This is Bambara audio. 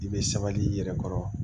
I bɛ sabali i yɛrɛ kɔrɔ